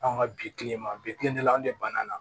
Anw ka bi kilema bilen de la anw de ban na